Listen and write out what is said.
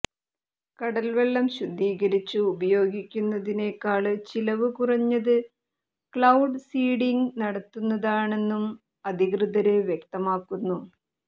കടല്വെള്ളം ശുദ്ധീകരിച്ച് ഉപയോഗിക്കുന്നതിനേക്കാള് ചിലവ് കുറഞ്ഞത് ക്ലൌഡ് സീഡിങ് നടത്തുന്നതണെന്നും അധികൃതര് വ്യക്തമാക്കുന്നു